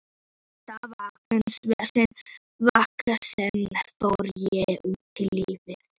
Með þetta veganesti fór ég út í lífið.